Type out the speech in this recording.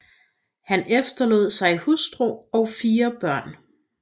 Han efterlod sig hustru og 4 børn